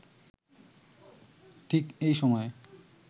ঠিক এই সময়ে